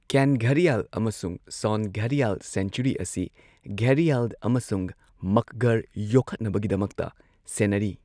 ꯀꯦꯟ ꯘꯔꯤꯌꯥꯜ ꯑꯃꯁꯨꯡ ꯁꯣꯟ ꯘꯔꯤꯌꯥꯜ ꯁꯦꯡꯆꯨꯔꯤ ꯑꯁꯤ ꯘꯔꯤꯌꯥꯜ ꯑꯃꯁꯨꯡ ꯃꯛꯒꯔ ꯌꯣꯛꯈꯠꯅꯕꯒꯤꯗꯃꯛꯇ ꯁꯦꯟꯅꯔꯤ꯫